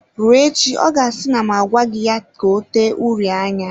Rụọ echi, ọ ga-asi na m agwaghi ya ka ọ tee uri anya.